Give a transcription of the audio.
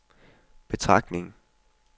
betragtning